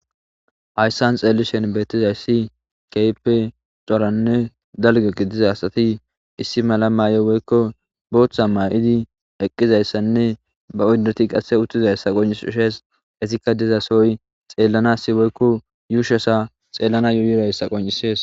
hayssan xeellishen beettizay si keype coranne dalge gi diza asati issi mala mayo woykko booththa ma7idi eqqizayssanne ba oddeti qasse uttizayssa qoncis ushees esikka dizasooy xeellana si woykko yuushasa xeellana yuuyrayssa qoncisees